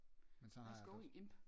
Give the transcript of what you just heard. Man tager